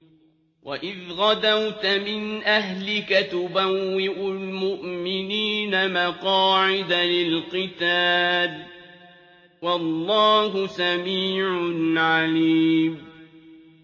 وَإِذْ غَدَوْتَ مِنْ أَهْلِكَ تُبَوِّئُ الْمُؤْمِنِينَ مَقَاعِدَ لِلْقِتَالِ ۗ وَاللَّهُ سَمِيعٌ عَلِيمٌ